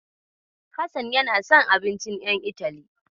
Hassan yana son abincin ƴan Itali.